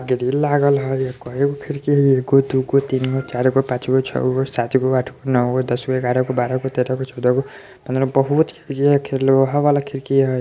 ग्रील लागल हई अ कैगो खिड़की हाई एगो दूगो तिन गो चारगो पांच गो छौ गो सात गो आठ गो नौ गो दस गो ग्यारह गो बराह गो तेरह गो चौदह गो पन्द्र बहुत खिड़की है ये लोहा वाला खिड़की हे।